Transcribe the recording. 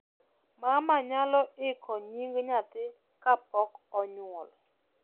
mama nyalo iko nying nyathi kapok onyuol